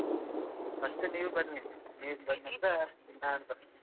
First ನೀವು ಬನ್ನಿ ನೀವು ಬಂದ ನಂತ್ರ ನಾನು ಬರ್ತೇನೆ.